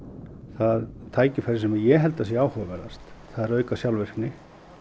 það tækifæri sem ég held að sé áhugaverðast það er að auka sjálfvirkni